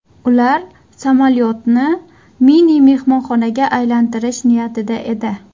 Ular samolyotni mini mehmonxonaga aylantirish niyatida edi.